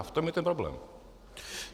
A v tom je ten problém.